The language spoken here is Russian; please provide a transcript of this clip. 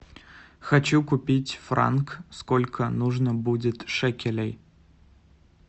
хочу купить франк сколько нужно будет шекелей